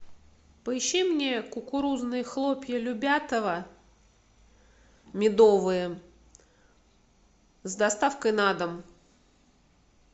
поищи мне кукурузные хлопья любятово медовые с доставкой на дом